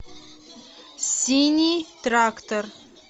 синий трактор